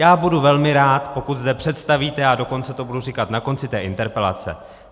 Já budu velmi rád, pokud zde představíte, a dokonce to budu říkat na konci té interpelace...